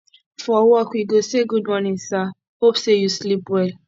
for work we go say gud morning sir hope say yu sleep well